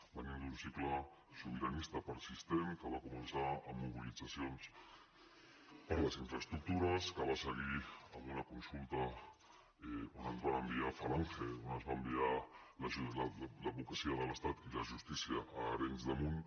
venim d’un cicle sobiranista persistent que va començar amb mobilitzacions per les infraestructures que va seguir amb una consulta on ens van enviar falange on es va enviar l’advocacia de l’estat i la justícia a arenys de munt